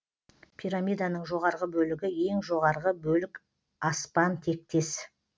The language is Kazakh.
пирамиданың жоғарғы бөлігі ең жоғарғы бөлік аспан тектес